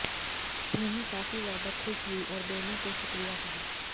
भूमि काफी ज्यादा खुश हुईं और दोनो को शुक्रिया कहा